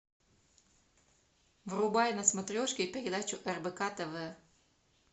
врубай на смотрешке передачу рбк тв